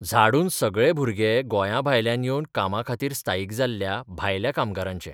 झाडून सगळे भुरगे गोंयाभायल्यान येवन कामाखातीर स्थायीक जाल्ल्या 'भायल्या 'कामगारांचे.